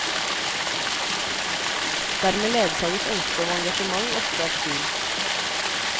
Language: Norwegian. Dermed ledsages ønsket om engasjement ofte av tvil.